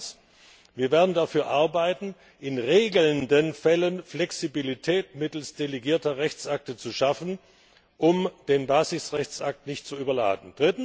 Zweitens Wir werden dafür arbeiten, in regelnden Fällen Flexibilität mittels delegierter Rechtsakte zu schaffen, um den Basisrechtsakt nicht zu überladen.